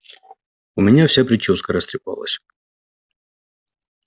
у меня вся причёска растрепалась